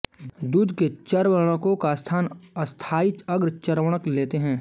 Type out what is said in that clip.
दूध के चर्वणकों का स्थान स्थायी अग्रचर्वणक लेते हैं